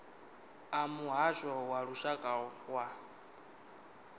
a muhasho wa lushaka wa